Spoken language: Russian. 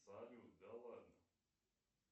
салют да ладно